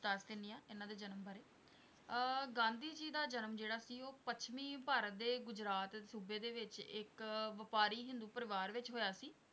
ਦੱਸ ਦਿਨੀ ਹੈ ਇਹਨਾਂ ਦੇ ਜਨਮ ਬਾਰੇ ਅਹ ਗਾਂਧੀ ਜੀ ਦਾ ਜਨਮ ਜਿਹੜਾ ਸੀ ਉਹ ਪੱਛਮੀ ਭਾਰਤ ਦੇ ਰਾਜਸੁਬੇ ਦੇ ਵਿੱਚ ਇੱਕ ਵਪਾਰੀ ਹਿੰਦੂ ਪਰਿਵਾਰ ਵਿੱਚ ਹੋਇਆ ਸੀ।